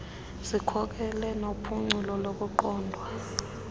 zikhokelo nophuculo kukuqondwa